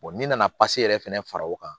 n'i nana yɛrɛ fɛnɛ fara o kan